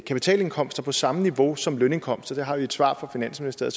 kapitalindkomster på samme niveau som lønindkomster det har vi et svar fra finansministeriet